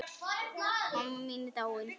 Mamma mín er dáin.